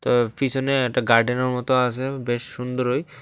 এর পিছনে একটা গার্ডেনের মতো আসে বেশ সুন্দরঅই ।